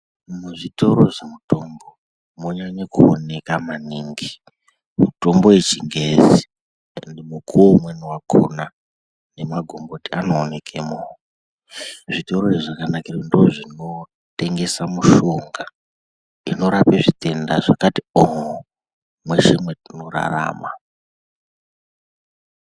Mizvitoro zvemitombo munyanye kuoneka maningi mutombo yechingezi. Mukuvo umweni vakona nemagomboti anoonekemo zvitorozvo zvakanakire kuti ndozvinotengesa mushonga, inorape zvitenda zvakati oo, mweshe mwatinorarama.